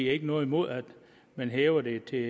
har ikke noget imod at man hæver det til